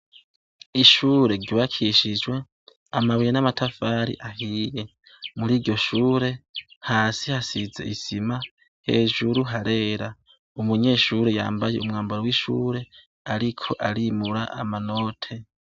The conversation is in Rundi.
Ishure ryubakishijwe amabuye n' amatafari ahiye . Muri iryo shure , hasi hasize isima, hejuru harera. Umunyeshure yambaye umwambaro w' ishure ariko arimura amanote.